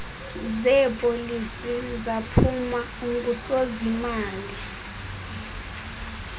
zeepolisi zaphuma ungusozimali